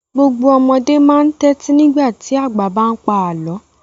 Gbogbo ọmọdé máa ń tẹ́tí nígbà tí àgbà bá ń pa àlọ́.